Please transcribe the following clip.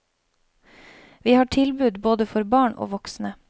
Vi har tilbud både for barn og voksne.